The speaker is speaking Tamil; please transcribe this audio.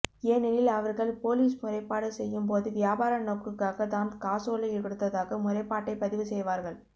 ஏனெனில் அவர்கள் பொலிஸ் முறைப்பாடு செய்யும் போது வியாபார நோக்குக்காக தான் காசோலை கொடுத்ததாக முறைப்பாட்டை பதிவு செய்வார்கள்